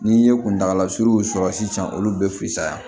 N'i ye kuntagala surun sɔrɔ sisan olu be fisaya